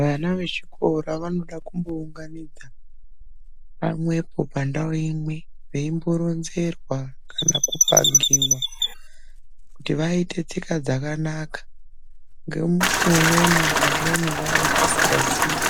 Vana vechikora vanoda kumbounganidzwa pamwepo pandau imwe. Veimboronzerwa kana kupangiva kuti, vaite tsika dzakanaka. Ngemushi umweni, vamweni vanenge vasikaziye